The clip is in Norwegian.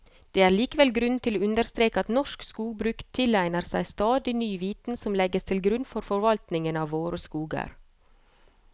Det er likevel grunn til å understreke at norsk skogbruk tilegner seg stadig ny viten som legges til grunn for forvaltningen av våre skoger.